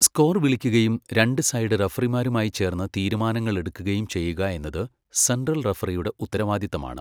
Score വിളിക്കുകയും രണ്ട് side റഫറിമാരുമായി ചേർന്ന് തീരുമാനങ്ങൾ എടുക്കുകയും ചെയ്യുക എന്നത് സെൻട്രൽ റഫറിയുടെ ഉത്തരവാദിത്തമാണ്.